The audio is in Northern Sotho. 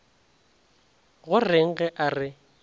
go reng ge a re